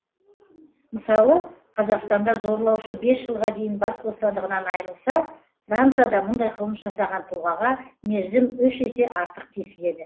мысалы қазақстанда зорлаушы бес жылға дейін бас бостандығынан айырылса францияда мұндай қылмыс жасаған тұлғаға мерзім үш есе артық кесіледі